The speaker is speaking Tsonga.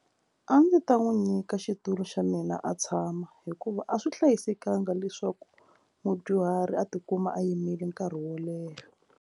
A ndzi ta n'wi nyika xitulu xa mina a tshama hikuva a swi hlayisekanga leswaku mudyuhari a tikuma a yimile nkarhi wo leha.